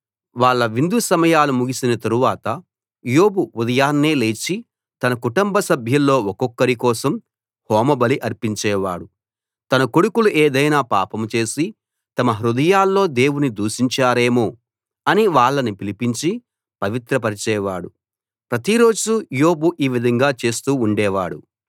వాళ్ళ విందు సమయాలు ముగిసిన తరువాత యోబు ఉదయాన్నే లేచి తన కుటుంబ సభ్యుల్లో ఒక్కొక్కరి కోసం హోమబలి అర్పించే వాడు తన కొడుకులు ఏదైనా పాపం చేసి తమ హృదయాల్లో దేవుణ్ణి దూషించారేమో అని వాళ్ళను పిలిపించి పవిత్రపరిచేవాడు ప్రతి రోజూ యోబు ఈ విధంగా చేస్తూ ఉండేవాడు